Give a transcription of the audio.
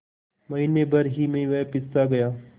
महीने भर ही में वह पिससा गया